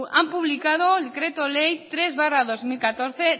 han publicado el decreto ley tres barra dos mil catorce